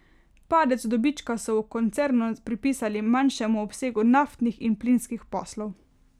Padec dobička so v koncernu pripisali manjšemu obsegu naftnih in plinskih poslov.